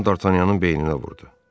Qan Dartanyanın beyninə vurdu.